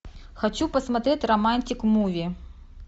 хочу посмотреть романтик муви